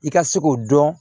I ka se k'o dɔn